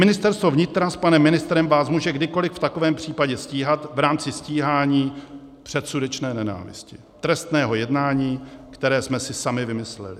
Ministerstvo vnitra s panem ministrem vás může kdykoli v takovém případě stíhat v rámci stíhání předsudečné nenávisti, trestného jednání, které jsme si sami vymysleli.